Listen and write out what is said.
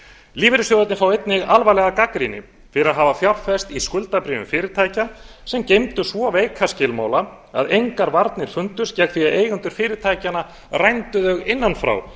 lífeyrissjóðirnir fá einnig alvarlega gagnrýni fyrir að hafa fjárfest í skuldabréfum fyrirtækja sem geymdu svo veika skilmála að engar varnir fundust gegn því að eigendur fyrirtækjanna rændu þau innan frá